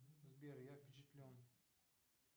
сбер я впечатлен